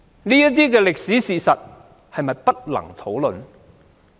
這些歷史事實是否不能討論呢？